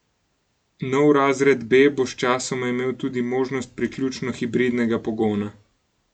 Novi razred B bo sčasoma imel tudi možnost priključno hibridnega pogona.